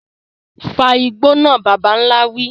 Fa igbó náà, bàbà ńlá wí.